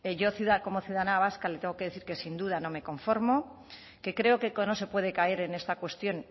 yo como ciudadana vasca le tengo que decir que sin duda no me conformo que creo que no se puede caer en esta cuestión